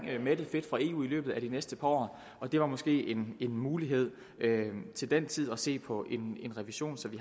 mættet fedt fra eu i løbet af de næste par år og det var måske en mulighed til den tid at se på en revision så vi